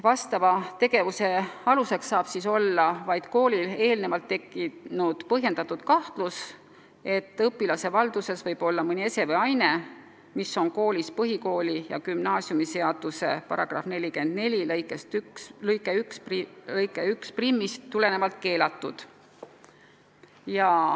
Selle tegevuse aluseks saab olla vaid põhjendatud kahtlus, et õpilase valduses võib olla mõni ese või aine, mis on koolis põhikooli- ja gümnaasiumiseaduse § 44 lõikest 11 tulenevalt keelatud.